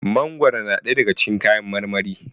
mangoro na daya daga cikin kayan marmari